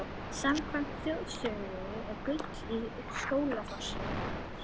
Samkvæmt þjóðsögu er gull í Skógafossi.